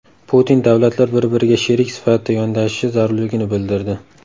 Putin davlatlar bir-biriga sherik sifatida yondashishi zarurligini bildirdi.